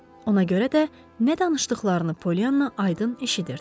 Ona görə də nə danışdıqlarını Polyana aydın eşidirdi.